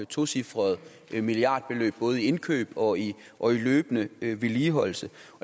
tocifrede milliardbeløb både i indkøb og i og i løbende vedligeholdelse